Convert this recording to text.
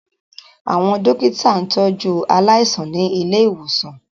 Àwọn dókítà ń tọ jú aláìsàn ní ilé ìwòsàn